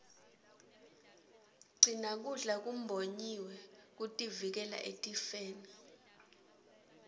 gcina kudla kumbonyiwe kutivikela etifeni